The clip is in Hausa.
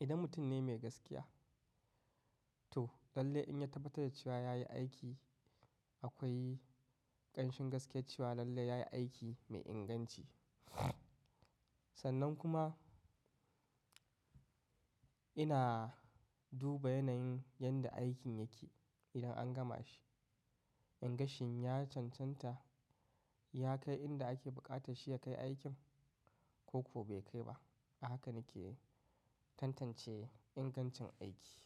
Idan mutum ne mai gaskiya, to lallai in ya tabbatar da cewa yayi aiki, akwai ƙanshin gaskiyar cewa lallai yayi aiki mai inganci. Sannan kuma ina duba yanayin yadda aikin yake idan an gama shi. In ga shin ya cancanta, ya kai inda ake buƙata shi ya kai aikin ko kuwa bai kai ba? A haka nake tantance ingancin aiki.